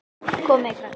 Komið þið, krakkar!